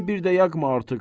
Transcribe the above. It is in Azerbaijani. qəlbimi bir də yaqma artıq.